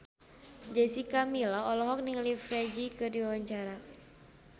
Jessica Milla olohok ningali Ferdge keur diwawancara